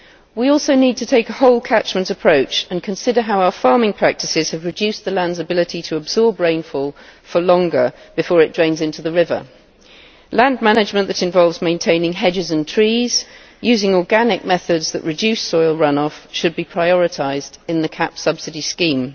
We also need to take a whole catchment approach and consider how our farming practices have reduced the land's ability to absorb rainfall for longer before it drains into the river. Land management that involves maintaining hedges and trees using organic methods that reduce soil run off should be prioritised in the CAP subsidiary scheme.